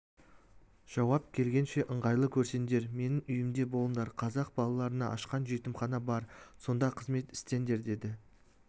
жауап келгенше ыңғайлы көрсеңдер менің үйімде болыңдар қазақ балаларына ашқан жетімхана бар сонда қызмет істеңдер деді